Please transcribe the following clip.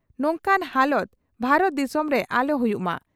ᱱᱚᱝᱠᱟᱱ ᱦᱟᱞᱚᱛ ᱵᱷᱟᱨᱚᱛ ᱫᱤᱥᱚᱢ ᱨᱮ ᱟᱞᱚ ᱦᱩᱭᱩᱜ ᱢᱟ ᱾